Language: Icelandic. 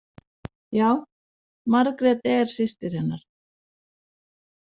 Já, Margrét er systir hennar.